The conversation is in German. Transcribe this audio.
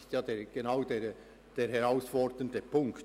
Genau darin liegt die Herausforderung.